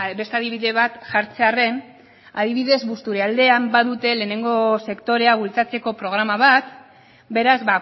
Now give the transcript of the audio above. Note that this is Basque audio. beste adibide bat jartzearren adibidez busturialdean badute lehenengo sektorea bultzatzeko programa bat beraz